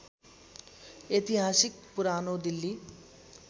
ऐतिहासिक पुरानो दिल्ली